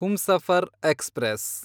Humsafar express